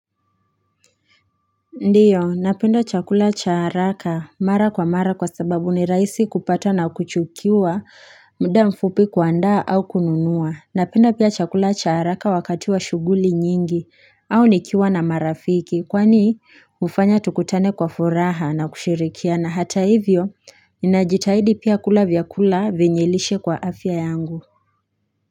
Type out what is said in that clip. Ndiyo napenda chakula cha haraka mara kwa mara kwa sababu ni rahisi kupata na kuchukiwa mda mfupi kuandaa au kununua napenda pia chakula cha haraka wakati wa shughuli nyingi au nikiwa na marafiki kwani hufanya tukutane kwa furaha na kushirikiana na hata hivyo najitahidi pia kula vyakula vyenye lishe kwa afya yangu.